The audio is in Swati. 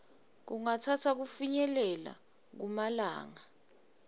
kungatsatsa kufinyelela kumalanga